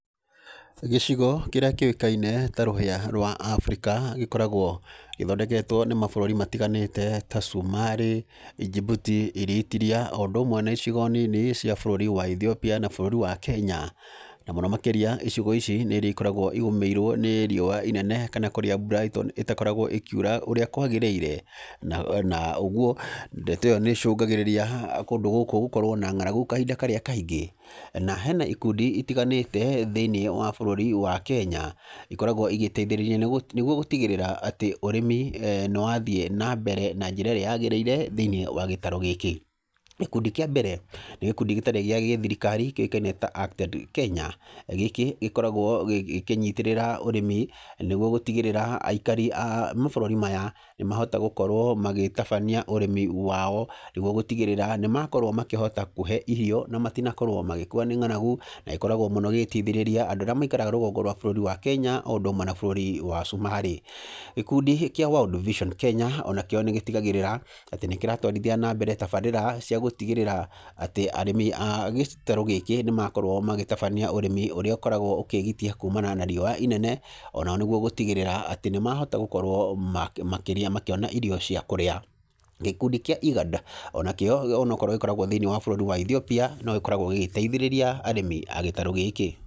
Gĩcigo kĩrĩa kĩũkaine ta rũhĩa rwa Africa gĩkoragwo gĩthondeketwo nĩ mabũrũri matiganĩte ta Somali, Djibouti, Eritriea, o ũndũ ũmwe na icigo nini cia bũrũri wa Ethiopia na bũrũri wa Kenya. Na mũno makĩria icigo ici nĩ irĩa ikoragwo igũmĩirwo nĩ riũa inene, kana kũrĩa mbura ĩtakoragwo ĩkiura ũrĩa kwagĩrĩire. Na ũguo, ndeto ĩyo nĩ ĩcũngagĩrĩria kũndũ gũkũ gũkorwo na ng'aragu kahinda karĩa kaingĩ. Na hena ikundi itiganĩte thĩiniĩ wa bũrũri wa Kenya, ikoragwo igĩteithĩrĩria nĩguo gũtigĩrĩra atĩ ũrĩmi eeh nĩ wathiĩ na mbere na njĩra ĩrĩa yagĩrĩire thĩiniĩ wa gĩtaro gĩkĩ. Gĩkundi kĩa mbere, nĩ gĩkundi gĩtarĩ gĩa gĩthirikari kĩũkaine ta ACTED Kenya. Gĩkĩ, gĩkoragwo gĩkĩnyitĩrĩra ũrĩmi, nĩguo gũtigĩrĩra aikari a mabũrũri maya, nĩ mahota gũkorwo magĩtabania ũrĩmi wao, nĩguo gũtigĩrĩra nĩ makorwo makĩhota kũhe irio na matinakorwo magĩkua nĩ ng'aragu. Na gĩkoragwo mũno gĩgĩteithĩrĩria andũ arĩa maikaraga rũgongo rwa bũrũri wa Kenya, o ũndũ ũmwe na bũrũri wa Somali. Gĩkundi kĩa World Vision Kenya, ona kĩo nĩ gĩtigagĩrĩra, atĩ nĩ kĩratwarithia na mbere tabrĩra cia gũtigĩrĩra atĩ arĩmi a gĩtarũ gĩkĩ nĩ makorwo magĩtabania ũrĩmi ũrĩa ũkoragwo ũkĩgitia kumana na riũa inene. Ona o nĩguo gũtigĩrĩra atĩ nĩ mahota gũkorwo makĩria makĩona irio cia kũrĩa. Gĩkundi kĩa IGAD, ona kĩo onokorwo gĩkoragwo thĩiniĩ wa bũrũri wa Ethiopia, no gĩkoragwo gĩgĩteithĩrĩria arĩmi a gĩtarũ gĩkĩ.